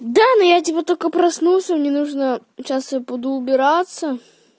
да ну я типо только проснулся мне нужно сейчас я буду убираться